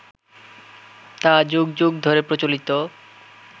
তা যুগ যুগ ধরে প্রচলিত